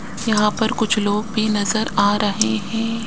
यहां पर कुछ लोग भी नजर आ रहे है।